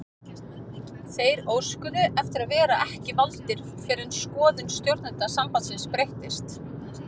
Þeir óskuðu eftir að vera ekki valdir fyrr en skoðun stjórnenda sambandsins breyttist.